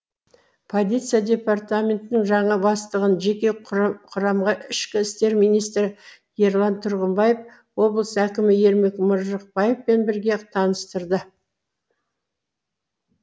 полиция департаментінің жаңа бастығын жеке құрамға ішкі істер министрі ерлан тұрғымбаев облыс әкімі ермек маржықбаевпен бірге таныстырды